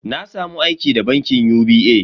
Na samu aiki da bankin UBA.